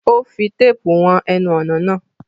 O fi téèpù won enun ònà lánàá